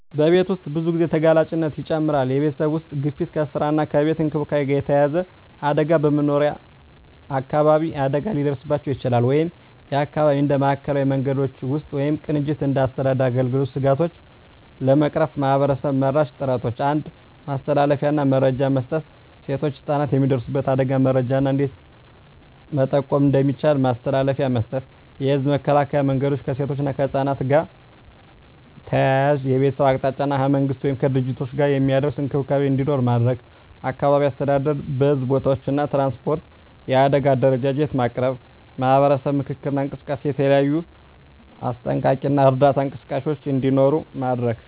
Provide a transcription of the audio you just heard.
በቤት ውስጥ ብዙ ጊዜ ተጋላጭነት ይጨምራል የቤተሰብ ውስጥ ግፊት ከስራ እና ከቤት እንክብካቤ ጋር የተያያዘ አደጋ በመኖሪያ አካባቢ አደጋ ሊደርስባቸው ይችላል (የአካባቢ እንደ ማዕከላዊ መንገዶች ውስጥ ወይም ቅንጅት እንደ አስተዳደር አገልግሎቶች ስጋቶቹን ለመቅረፍ ማህበረሰብ-መራሽ ጥረቶች 1. ማስተላለፊያ እና መረጃ መስጠት ሴቶችና ህፃናት የሚደርሱበት አደጋን መረጃ እና እንዴት መቆም እንደሚቻል ማስተላለፊያ መስጠት። የህዝብ መከላከያ መንገዶች ከሴቶች እና ከህፃናት ጋር ተያያዘ የቤተሰብ አቅጣጫ እና ከመንግሥት ወይም ከድርጅቶች ጋር የሚደርስ እንክብካቤ እንዲኖር ማድረግ። አካባቢ አስተዳደር በሕዝብ ቦታዎች እና ትራንስፖርት የአደጋ አደረጃጀት ማቅረብ። ማህበረሰብ ምክክር እና እንቅስቃሴ የተለያዩ አስጠንቀቂ እና እርዳታ እንቅስቃሴዎች እንዲኖሩ ማድረግ።